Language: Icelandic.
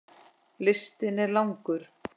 Listinn er langur.